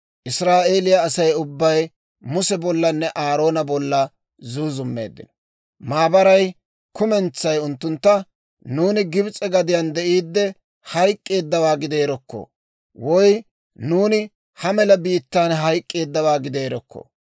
Israa'eeliyaa Asay ubbay Muse bollanne Aaroona bolla zuuzummeeddino. Maabaray kumentsay unttuntta, «Nuuni Gibs'e gadiyaan de'iidde hayk'k'eeddawaa gideerokko! Woy nuuni ha mela biittaan hayk'k'eeddawaa gideerokko!